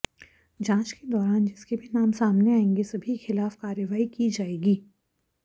जांच के दौरान जिसके भी नाम सामने आएंगे सभी के खिलाफ कार्रवाई की जाएगी